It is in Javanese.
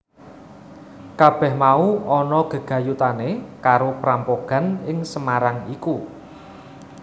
Kabèh mau ana gegayutané karo prampogan ing Semarang iku